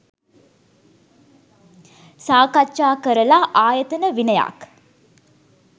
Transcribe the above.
සාකච්ඡා කරලා ආයතන විනයක්